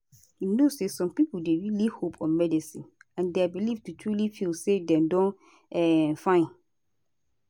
you know say some pipo dey really hope on medicine and dia belief to truly feel say dem don um fine